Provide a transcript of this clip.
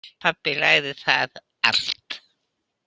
Pabbi lagaði það allt.